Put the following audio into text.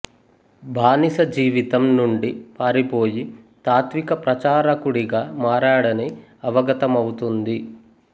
బానిస జీవితం నుండి పారిపోయి తాత్విక ప్రచారకుడిగా మారాడని అవగతమవుతుంది